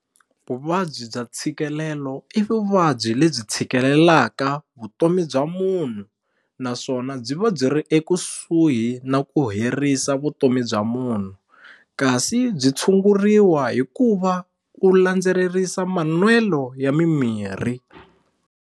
Vuvabyi bya ntshikelelo i vuvabyi lebyi tshikeleleka vutomi bya munhu naswona byi va byi ri ekusuhi na ku herisa vutomi bya munhu kasi byi tshunguriwa hi ku va u landzererisa manwelo ya mimirhi.